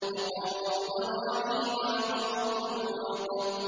وَقَوْمُ إِبْرَاهِيمَ وَقَوْمُ لُوطٍ